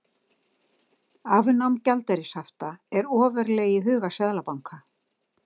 Afnám gjaldeyrishafta ofarlega í huga seðlabanka